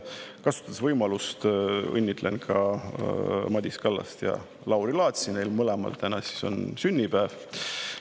Kasutades võimalust, õnnitlen ka Madis Kallast ja Lauri Laatsi, neil mõlemal on täna sünnipäev.